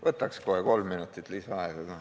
Võtaks kohe kolm minutit lisaaega ka.